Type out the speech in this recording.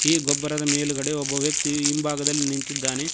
ಈ ಗೊಬ್ಬರದ ಮೇಲುಗಡೆ ಒಬ್ಬ ವ್ಯಕ್ತಿ ಹಿಂಭಾಗದಲ್ಲಿ ನಿಂತಿದ್ದಾನೆ.